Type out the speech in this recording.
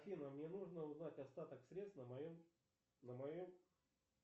афина мне нужно узнать остаток средств на моем на моем